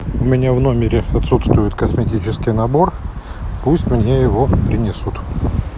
у меня в номере отсутствует косметический набор пусть мне его принесут